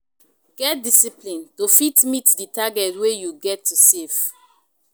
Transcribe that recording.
Get discipline to fit meet di target wey you get to save